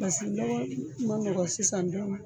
Pasiki lɔgɔ man nɔgɔ sisan dɔɔni.